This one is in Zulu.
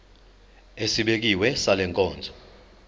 esibekiwe sale nkonzo